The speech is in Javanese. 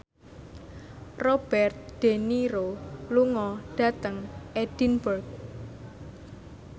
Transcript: Robert de Niro lunga dhateng Edinburgh